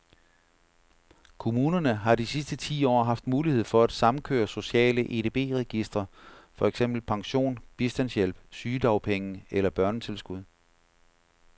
Kommunerne har de sidste ti år haft mulighed for at samkøre sociale EDB registre, for eksempel pension, bistandshjælp, sygedagpenge eller børnetilskud.